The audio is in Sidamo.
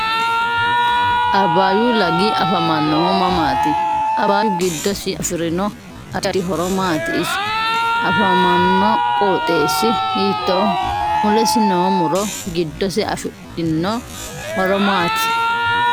Abbayyu lavi afamannohu mamaati abbayyu giddosi afirino addi addi horo maati isi afamanno qooxeesi hiitooho mulesi noo muro giddose afidhinno horo maati